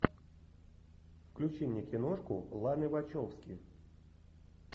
включи мне киношку ланы вачовски